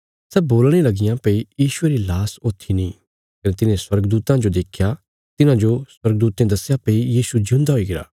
सै बोलणे लगियां भई यीशुये री लाश ऊत्थी नीं कने तिन्हे स्वर्गदूतां जो देख्या तिन्हाजो स्वर्गदूतें दस्या भई यीशु जिऊंदा हुईगरा